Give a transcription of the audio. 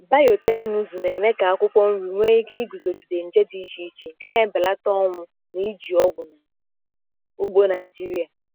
Biotekịnụzụ na-eme ka akwụkwọ nri nwee ike iguzogide nje dị iche iche, nke na-ebelata ọnwụ na iji ọgwụ na ugbo Naijiria.